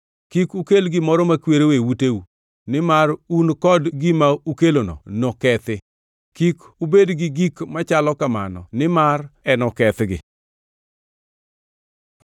Kik ukel gimoro makwero e uteu, nimar un kod gima ukelono nokethi. Kik ubed gi gik machalo kamano nimar enokethgi.